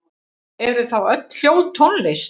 Eru þá öll hljóð tónlist?